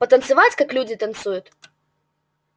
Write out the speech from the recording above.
потанцевать как люди танцуют